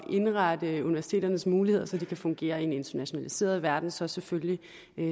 indrette universiteternes muligheder så de kan fungere i en internationaliseret verden så selvfølgelig